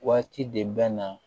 Waati de bɛ na